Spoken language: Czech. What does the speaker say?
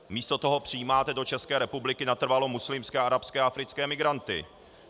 Místo toho přijímáte do České republiky natrvalo muslimské, arabské a africké migranty.